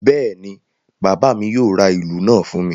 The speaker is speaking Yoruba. Bẹ́ẹ̀ ni, bàbá mi yóò ra ìlù náà fún mi.